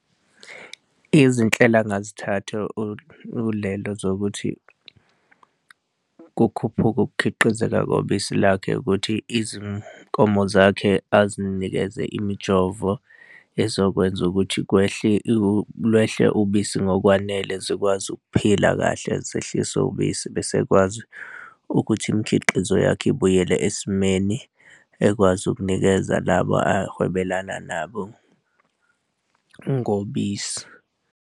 Izinhlelo angazithatha uLebo zokuthi kukhuphuke ukukhiqizeka kobisi lakhe ukuthi izinkomo zakhe azinikeze imijovo, ezokwenza ukuthi kwehle lwehle ubisi ngokwanele zikwazi ukuphila kahle zihlise ubisi bese ekwazi ukuthi imikhiqizo yakhe ibuyele esimeni ekwazi ukunikeza labo ahwebelana nabo ngobisi.